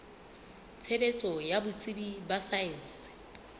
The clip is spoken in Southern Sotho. tshebetso ya botsebi ba saense